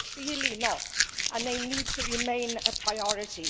they are clearly not and they need to remain a priority.